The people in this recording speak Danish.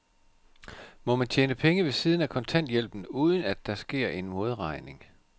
Må man tjene penge ved siden af kontanthjælpen, uden at der sker en modregning?